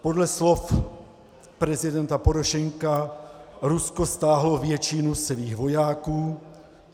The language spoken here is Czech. Podle slov prezidenta Porošenka Rusko stáhlo většinu svých vojáků.